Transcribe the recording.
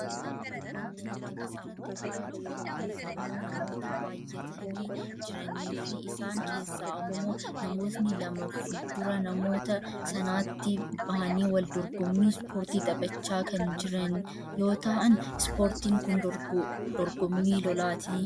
wanti nuti asirratti argaa jirru kun ammoo namoota baayyatanii jiraniifi isaan keessaa ammoo namoonni lama fuuldura namoota sanaatti bahanii wal dorgommii ispoortii taphachaa kan jiran yoo ta'an ispoortiin kun dorgommii lolaati.